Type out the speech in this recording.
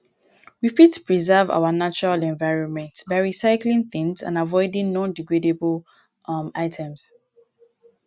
we fit preserve our natural environment by recycling things and avoiding nondegradable um items